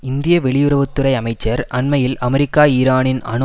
இந்திய வெளியுறவு துறை அமைச்சர் அண்மையில் அமெரிக்கா ஈரானின் அணு